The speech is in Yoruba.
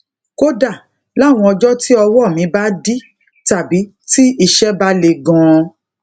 kódà láwọn ọjó tí ọwó mi bá dí tàbí tí iṣé bá le ganan